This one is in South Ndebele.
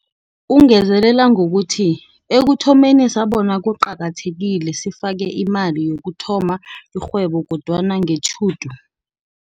Ungezelela ngokuthi, ekuthomeni sabona kuqakathekile sifake imali yokuthoma irhwebo kodwana ngetjhudu